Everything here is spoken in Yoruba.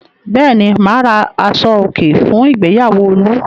Bẹ́ẹ̀ ni, mà á ra aṣọòkè fún ìgbéyàwó Olú.